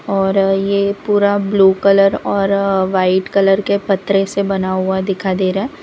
और ये पूरा ब्लू कलर और वाइट कलर के पतरे से बना हुआ दिखाई दे रहा है।